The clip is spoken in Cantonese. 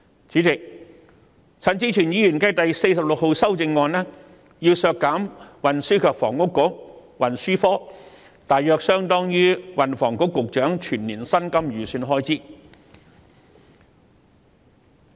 主席，陳志全議員提出第46號修正案，要求削減運輸及房屋局項下大約相當於運輸及房屋局局長全年薪金的預算開支。